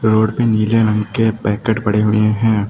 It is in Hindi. रोड पे नीले रंग के पैकेट पड़े हुए हैं।